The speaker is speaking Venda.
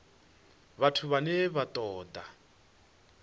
vhathu vhane vha ṱo ḓa